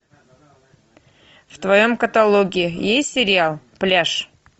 в твоем каталоге есть сериал пляж